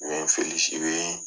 U ye n felisi u ye